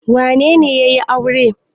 Wane ne ya yi aure?